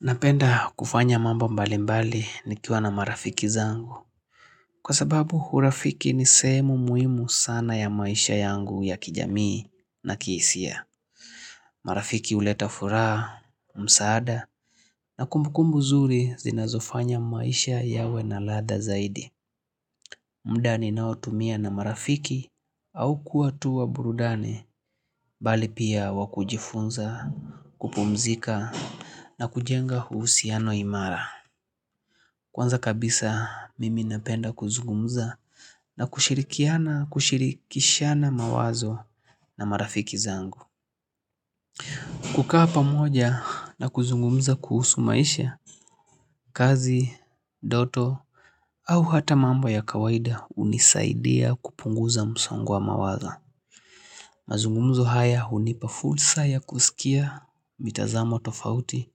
Napenda kufanya mambo mbali mbali nikiwa na marafiki zangu. Kwa sababu urafiki ni sehemu muhimu sana ya maisha yangu ya kijamii na kihisia. Marafiki uleta furaha, msaada na kumbukumbu zuri zinazofanya maisha yawe na ladha zaidi. Mda ni nao tumia na marafiki au kuatua burudani bali pia wakujifunza, kupumzika na kujenga uhusiano imara. Kwanza kabisa mimi napenda kuzungumza na kushirikiana kushirikishana mawazo na marafiki zangu kukaa pamoja na kuzungumuza kuhusu maisha kazi, ndoto au hata mambo ya kawaida unisaidia kupunguza msongo wa mawazo mazungumzo haya unipa fulsa ya kusikia mitazamo tofauti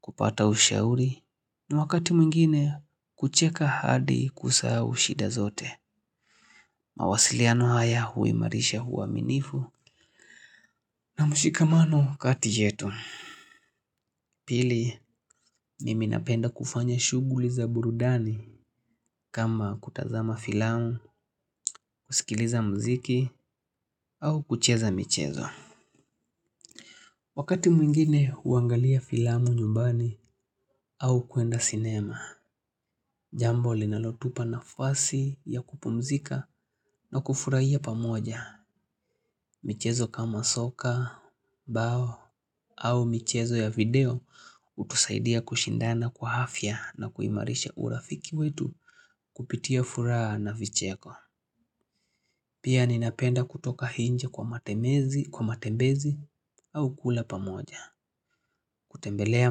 kupata ushauri ni wakati mwingine kucheka hadi kusahau shida zote mawasiliano haya hui marisha hua minifu na mshikamano katiyetu Pili miminapenda kufanya shuguli za burudani kama kutazama filamu, kusikiliza mziki au kucheza michezo Wakati mwingine uangalia filamu nyumbani au kuenda cinema Jambo linalotupa na fasi ya kupumzika na kufurahia pamoja michezo kama soka, bao au michezo ya video utusaidia kushindana kwa afya na kuimarisha urafiki wetu kupitia furaha na vicheko. Pia ninapenda kutoka nje kwa matemezi, kwa matembezi au kula pamoja. Kutembelea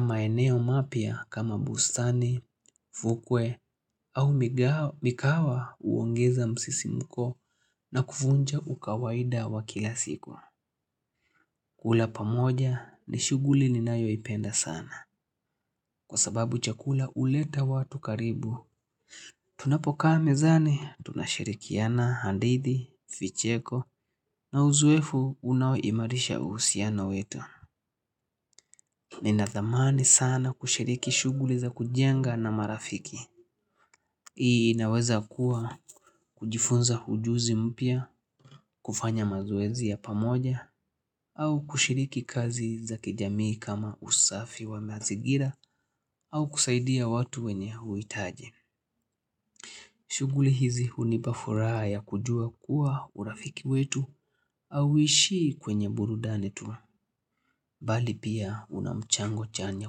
maeneo mapya kama bustani, fukwe au mikahawa uongeza msisi mko na kuvunja ukawaida wa kilasiku. Kula pamoja ni shuguli ni nayo ipenda sana kwa sababu chakula uleta watu karibu. Tunapokaa mezani tunashirikiana andithi, vicheko na uzoefu unaoimarisha uhusiano wetu. Ninathamani sana kushiriki shuguli za kujenga na marafiki. Hii inaweza kuwa kujifunza ujuzi mpya kufanya mazoezi ya pamoja au kushiriki kazi zaki jamii kama usafi wa mazigira au kusaidia watu wenye huitaji. Shuguli hizi hunipafuraha ya kujua kuwa urafiki wetu au ishii kwenye burudani tu, bali pia unamchango chanya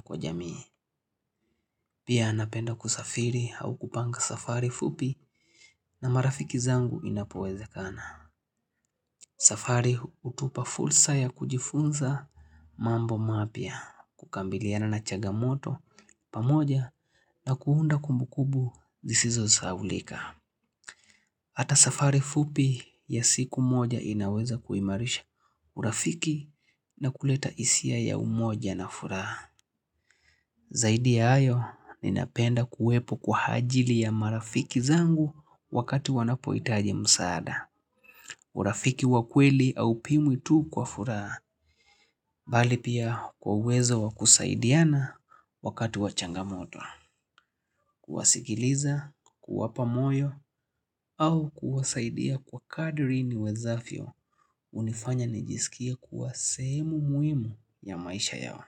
kwa jamii. Pia anapenda kusafiri au kupanga safari fupi na marafiki zangu inapoweze kana. Safari utupa fulsa ya kujifunza mambo mapya, kukambiliana na chaga moto pamoja na kuunda kumbu kubu zisizo saulika. Hata safari fupi ya siku moja inaweza kuimarisha urafiki na kuleta isia ya umoja na furaha. Zaidi ya ayo, ninapenda kuwepo kwa hajili ya marafiki zangu wakati wanapoitaji msaada. Urafiki wakweli au pimwi tu kwa furaha, bali pia kwa uwezo wakusaidiana wakati wachangamoto, kuwasikiliza, kuwapa moyo, au kuwasaidia kwa kadri ni wezafyo, unifanya nijisikie kuwa sehemu muhimu ya maisha yao,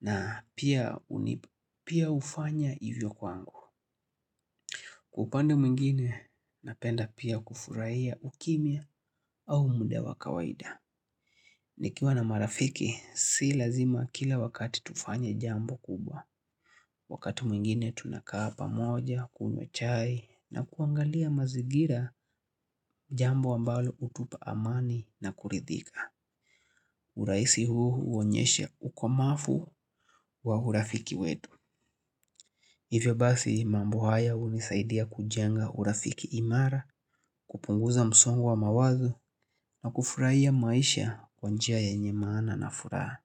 na pia ufanya ivyo kwangu. Kwa upande mwingine, napenda pia kufurahia ukimia au mood wa kawaida. Nikiwa na marafiki, si lazima kila wakati tufanye jambo kubwa. Wakati mwingine, tunakaa pamoja, kunywa chai, na kuangalia mazigira jambo ambalo utupa amani na kuridhika. Urahisi huonyesha ukomafu wa urafiki wetu. Hivyo basi mambo haya unisaidia kujenga urafiki imara kupunguza msongo wa mawazo na kufurahia maisha kwa njia yenye maana na furaha.